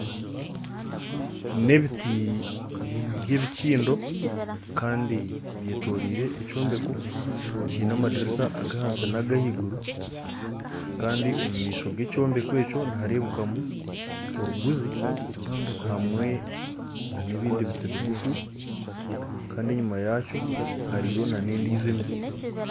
N'ebiti by'ebikindo kandi byetooriire ekyombeko kiine amadarisa ag'ahansi n'agahaiguru kandi omu maisho g'ekyombeko ekyo nihareebekamu oruguzi hamwe n'ebindi biti bigufu kandi enyima yaakyo hariyo n'endiijo emiti